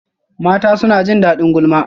Mata suna jin daɗin gulma